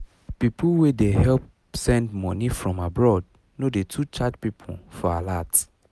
people wey dey help send money from abroad no dey too charge people for alert